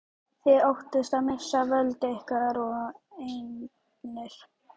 Þið óttist að missa völd ykkar og eignir.